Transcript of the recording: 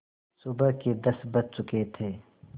सुबह के दस बज चुके थे